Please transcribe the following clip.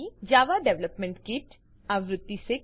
જાવા development kit JDK આવૃત્તિ 6